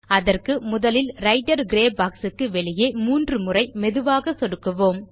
அதற்கு முதலில் writer grey box க்கு வெளியே மூன்றுமுறை மெதுவாக சொடுக்குவோம்